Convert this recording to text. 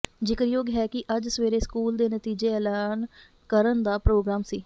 ਜ਼ਿਕਰਯੋਗ ਹੈ ਕਿ ਅੱਜ ਸਵੇਰੇ ਸਕੂਲ ਦੇ ਨਤੀਜੇ ਐਲਾਨ ਕਰਨ ਦਾ ਪ੍ਰੋਗਰਾਮ ਸੀ